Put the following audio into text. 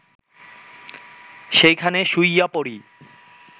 সেইখানে শুইয়া পড়ি